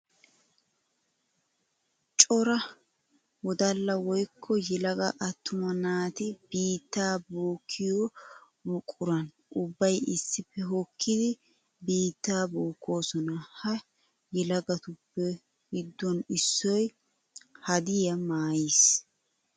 Cora wodalla woykko yelaga atumma naati biitta bookkiyo buquran ubbay issippe hokkiddi biitta bookosonna. Ha yelagatuppe giduwan issoy haddiya maayis.